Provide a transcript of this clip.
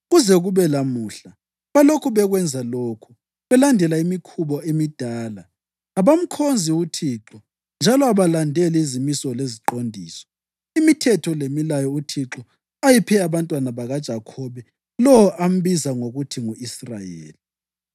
Kuze kube lamuhla balokhu bekwenza lokhu belandela imikhuba emidala. Abamkhonzi uThixo njalo abalandeli izimiso leziqondiso, imithetho lemilayo uThixo ayeyiphe abantwana bakaJakhobe, lo ambiza ngokuthi ngu-Israyeli.